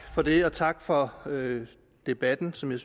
for det og tak for debatten som jeg